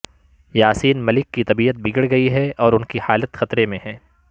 یاسین ملک کی طبیعت بگڑ گئی ہے اور انکی حالت خطرے میں ہے